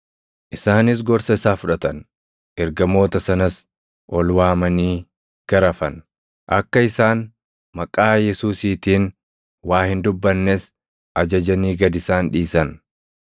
Isaanis gorsa isaa fudhatan; ergamoota sanas ol waamanii garafan; akka isaan maqaa Yesuusiitiin waa hin dubbannes ajajanii gad isaan dhiisan.